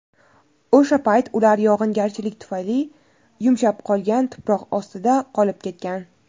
O‘sha payt ular yog‘ingarchilik tufayli yumshab qolgan tuproq ostida qolib ketgan.